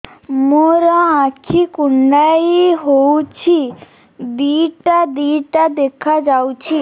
ମୋର ଆଖି କୁଣ୍ଡାଇ ହଉଛି ଦିଇଟା ଦିଇଟା ଦେଖା ଯାଉଛି